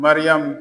Mariyamu